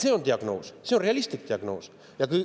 See on diagnoos, see on realistlik diagnoos.